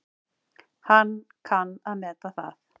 Hann kann að meta það.